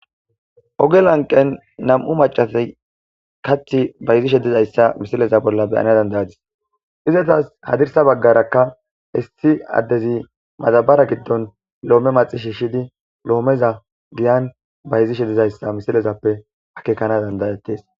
Oge lanqqen nam7u maccati kaththi bayizishe dizayssa misile bolla be7ana dandda7adis. Izetas hadirssa bagarakka issi adezi madabara gidon loome maxi shiishidi giyan bayizishe dizayisa ha misilexappe akeekana dandda7etes.